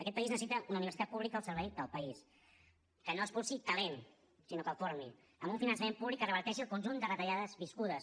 aquest país necessita una universitat pública al servei del país que no expulsi talent sinó que el formi amb un finançament públic que reverteixi el conjunt de retallades viscudes